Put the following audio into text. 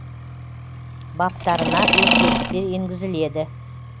баптарына өзгерістер енгізіледі